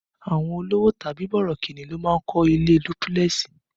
Àwọn olówò tàbí borokinni ló ń kọ́ ilé dúpílẹ̀sì